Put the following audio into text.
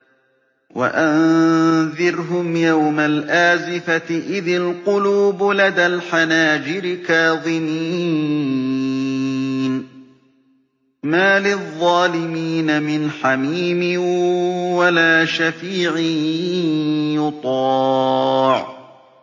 وَأَنذِرْهُمْ يَوْمَ الْآزِفَةِ إِذِ الْقُلُوبُ لَدَى الْحَنَاجِرِ كَاظِمِينَ ۚ مَا لِلظَّالِمِينَ مِنْ حَمِيمٍ وَلَا شَفِيعٍ يُطَاعُ